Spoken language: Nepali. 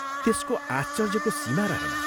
त्यसको आश्चर्यको सीमा रहेन।